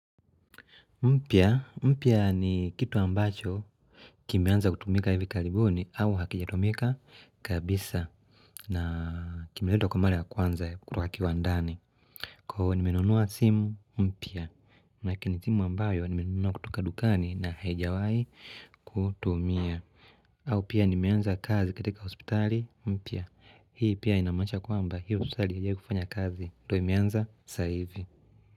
Mpya, mpya ni kitu ambacho kimeanza kutumika hivikaribuni au hakijatumika kabisa na kimiletwa kwa mara ya kwanza kutoka kiwandani. Kwa hiyo nimenunua simu mpya, maanake ni simu ambayo nimenunua kutoka dukani na haijawai kutumia. Au pia nimenza kazi katika hospitali mpya, hii pia inamaanisha kwamba hii hospitali haijawahi kufanya kazi ndio imeanza sasa hivi.